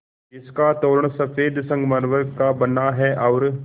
जिसका तोरण सफ़ेद संगमरमर का बना है और